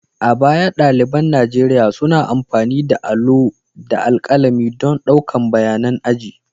A baya, ɗaliban Nigeriya suna amfani da allo da alƙalami don ɗaukan bayanan aji.